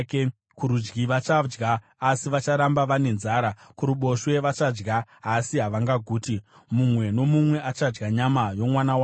Kurudyi vachadya asi vacharamba vane nzara; kuruboshwe, vachadya asi havangaguti. Mumwe nomumwe achadya nyama yomwana wake.